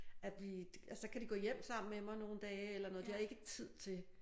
At blive så kan de gå hjem sammen med mig nogle dage eller noget de har ikke tid til